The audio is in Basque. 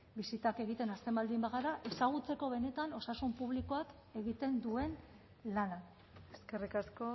bisitak egiten hasten baldin bagara ezagutzeko benetan osasun publikoak egiten duen lana eskerrik asko